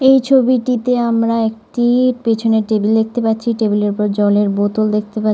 এই ছবিটিতে আমরা একটি পিছনের টেবিল দেখতে পাচ্ছি টেবিল এর উপর একটি জলের বোতল দেখতে পা--